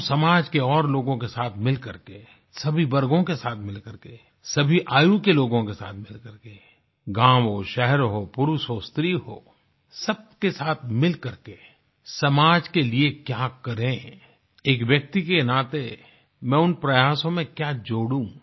हम समाज के और लोगों के साथ मिलकर के सभी वर्गों के साथ मिलकर के सभी आयु के लोगों के साथ मिलकर के गाँव हो शहर हो पुरुष हो स्त्री हो सब के साथ मिलकर के समाज के लिये क्या करें एक व्यक्ति के नाते मैं उन प्रयासों में क्या जोडूं